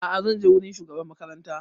A'a zan je wurin shugaban makaranta